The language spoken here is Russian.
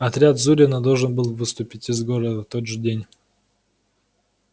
отряд зурина должен был выступить из города в тот же день